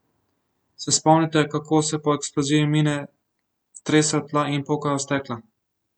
Se spomnite, kako se po eksploziji mine tresejo tla in pokajo stekla?